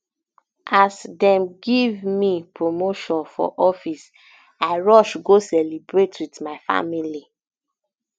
as um dem give um me promotion for office i rush go celebrate wit my family